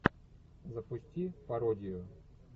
запусти пародию